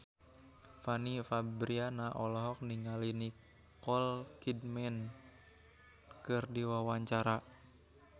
Fanny Fabriana olohok ningali Nicole Kidman keur diwawancara